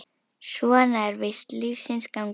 Svona er víst lífsins gangur.